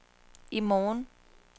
i morgen